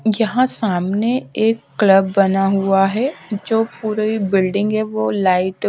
जहां सामने एक क्लब बना हुआ है जो पूरी बिल्डिंग है वो लाइट --